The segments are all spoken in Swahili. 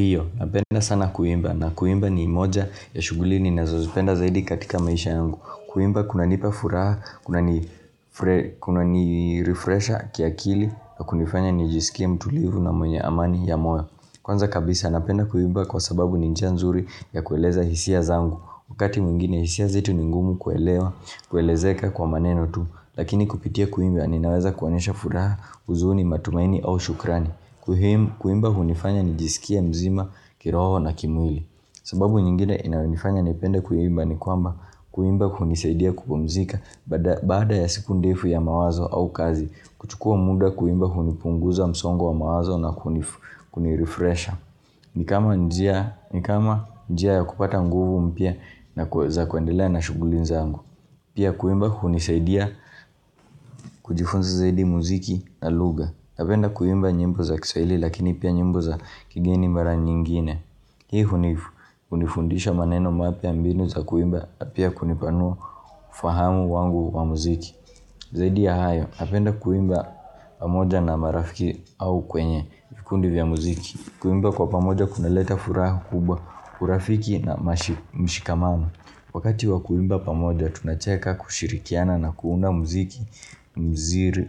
Hiyo, napenda sana kuimba. Na kuimba ni moja ya shughuli ni nazozipenda zaidi katika maisha yangu. Kuimba kuna nipafuraha, kuna nirefresha kiakili na kunifanya nijisikia mtulivu na mwenye amani ya moa. Kwanza kabisa napenda kuimba kwa sababu ninjanzuri ya kueleza hisia zangu. Wakati mwingine hisia zetu ni ngumu kuelewa, kuelezeka kwa maneno tu. Lakini kupitia kuimba aninaweza kuonyesha furaha uzuni matumaini au shukrani. Kuimba hunifanya nijisikia mzima kiroho na kimwili sababu nyingine inaunifanya nipenda kuimba ni kwamba Kuimba hunisaidia kupomzika Baada ya siku ndefu ya mawazo au kazi kuchukua muda kuimba hunipunguza msongo wa mawazo na kunirefresha Nikama njia ya kupata nguvu mpya na za kuandila na shughuli nzangu Pia kuimba hunisaidia kujifunza zaidi muziki na lugha napenda kuimba nyimbo za kiswahili lakini pia nyimbo za kigeni mara nyingine. Hii hunifu, kundifundisha maneno mape ambinu za kuimba apia kunipano ufahamu wangu wa muziki. Zaidi ya hayo, napenda kuimba pamoja na marafiki au kwenye vikundi vya muziki. Kuimba kwa pamoja kuna leta furaha kubwa urafiki na mshikamano. Wakati wa kuimba pamoja tunacheka kushirikiana na kuunda muziki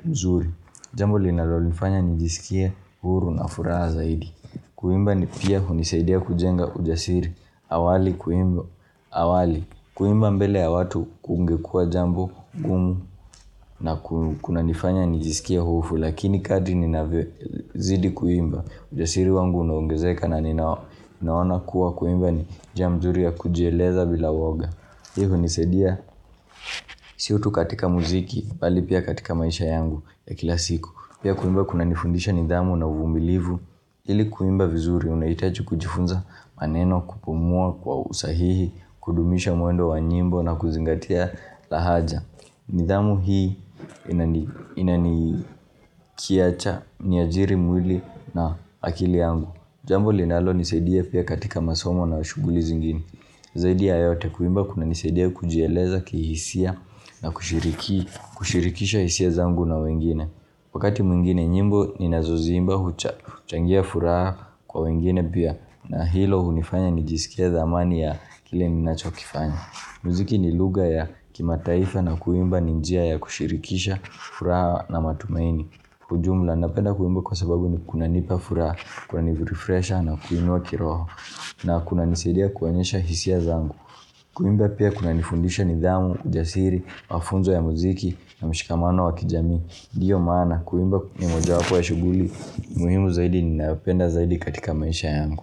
mzuri. Jambo linalolifanya nijisikia huru na furaha zaidi. Kuimba ni pia hunisaidia kujenga ujasiri. Awali kuimba mbele ya watu kungekua jambo gumu na kunanifanya nijisikia hufu. Lakini kati ninazidi kuimba. Ujasiri wangu unaungezeka na ninaona kuwa kuimba ni jamzuri ya kujeleza bila woga. Hii hunisaidia si utu katika muziki pali pia katika maisha yangu ya kila siku. Pia kuimba kuna nifundisha nidhamu na uvumilivu, ili kuimba vizuri unaitaji kujifunza maneno kupumua kwa usahihi, kudumisha mwendo wa nyimbo na kuzingatia la haja. Nidhamu hii inanikiacha ni ajiri mwili na akili angu. Jambo linalo nisadia pia katika masomo na ushughuli zingini. Zaidia ya yote kuimba kuna nisaidia kujieleza kihisia na kushirikisha hisia zangu na wengine. Wakati mwingine nyimbo ninazoimba huchangia furaha kwa wengine pia na hilo hunifanya ni jisikia zamani ya kile minachokifanya. Muziki ni lugha ya kimataifa na kuimba ninjia ya kushirikisha furaha na matumaini. Hujumla napenda kuimba kwa sababu ni kunanipa furaha, kuna refresha na kuinua kiroho na kuna nisadia kuonyesha hisia zangu. Kuimba pia kuna nifundisha nidhamu, jasiri, mafunzo ya muziki na mshikamano wa kijamii. Ndiyo maana kuimba ya moja wapo ya shughuli muhimu zaidi ninayopenda zaidi katika maisha yangu.